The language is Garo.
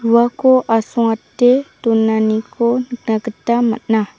uako asongate donaniko nikna gita man·a.